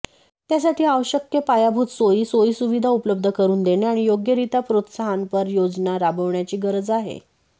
त्यासाठी आवश्यक पायाभूत सोयी सोयीसुविधा उपलब्ध करून देणे आणि योग्यरित्या प्रोत्साहनपर योजना राबवण्याची गरज आहे